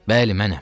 Bəli, mənəm.